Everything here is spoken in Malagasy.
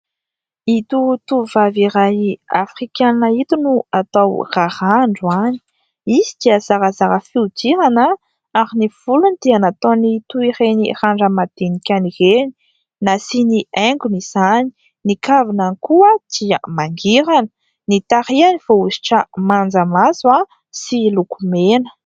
Ito tovovavy iray afrikanina ito no atao raharaha androany. Izy dia zarazara fihodirana ary ny volony dia nataony toy ireny randra-madinikany ireny. Nasiany haingony izany. Ny kavinany koa dia mangirana. Ny tarehiny voahosotra manjamaso sy lokomena.